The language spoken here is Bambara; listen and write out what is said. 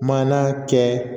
Maana kɛ